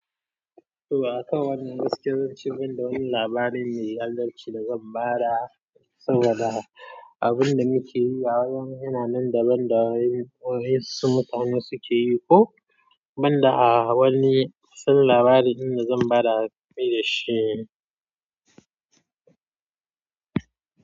To a kan wannan gaskiya, zan ce gaba da wani labari mai adalci da zan ba da saboda abin da muke yi a yau yana nan daban da waye wasu mutane suke yi ko banda a wani. Sabon labarin da zan ba da kai da shi ne.